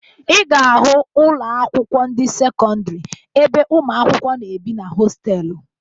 Ị ga-ahụ ụlọakwụkwọ ndị sekọndịrị ebe ụmụakwụkwọ na-ebi na hosteelụ